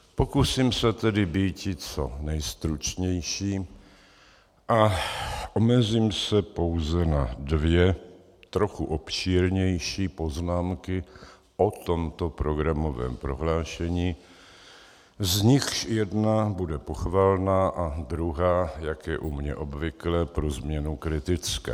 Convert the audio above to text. Pokusím se tedy býti co nejstručnější a omezím se pouze na dvě trochu obšírnější poznámky o tomto programovém prohlášení, z nichž jedna bude pochvalná a druhá, jak je u mě obvyklé, pro změnu kritická.